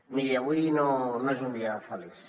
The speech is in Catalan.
miri avui no és un dia feliç